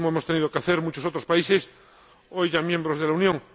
Lo mismo hemos tenido que hacer muchos otros países, hoy ya miembros de la Unión.